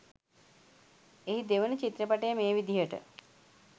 එහි දෙවන චිත්‍රපටය මේ විදියට